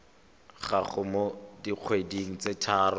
gago mo dikgweding tse tharo